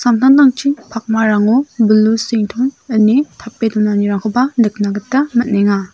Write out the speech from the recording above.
samtangtangchin pakmarango bilusington ine tape donanirangkoba nikna gita man·enga.